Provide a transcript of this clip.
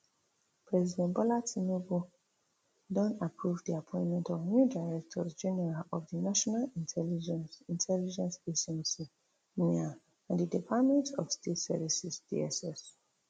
president bola tinubu don approve di appointment of new directors general for di national intelligence intelligence agency nia and di department of state services dss